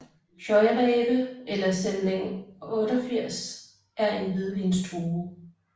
Scheurebe eller Sämling 88 er en hvidvinsdrue